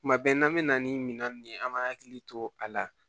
Kuma bɛɛ n'an bɛ na ni minɛn nunnu ye an b'an hakili to a la